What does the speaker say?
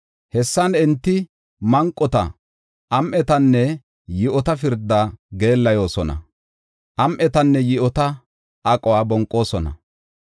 Hessan enti manqota, am7etanne yi7ota pirdaa geellayosona; am7etanne yi7ota aquwa bonqoosona.